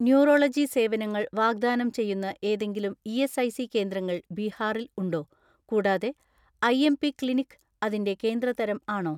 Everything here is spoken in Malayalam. ന്യൂറോളജി സേവനങ്ങൾ വാഗ്ദാനം ചെയ്യുന്ന ഏതെങ്കിലും ഇ.എസ്.ഐ.സി കേന്ദ്രങ്ങൾ ബീഹാറിൽ ഉണ്ടോ? കൂടാതെ ഐ.എം.പി ക്ലിനിക് അതിന്റെ കേന്ദ്ര തരം ആണോ?